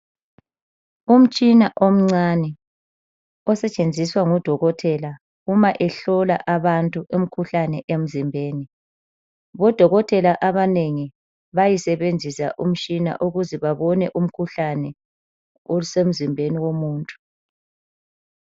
Umtshina omncane osetshenziswa ngudokotela uma ehlola abantu imkhuhlane emzimbeni. Bodokotela abanengi bayisebenzisa umtshina ukuze babone umkhuhlane osemzimbeni womuntu.